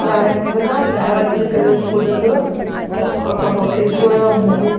దాని ముందర lavender colour పూలతో ఒక బొకే కూడా ఉన్నది.